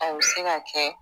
A bi se ka kɛ.